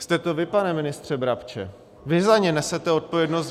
Jste to vy, pane ministře Brabče, vy za ni nesete odpovědnost.